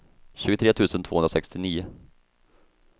tjugotre tusen tvåhundrasextionio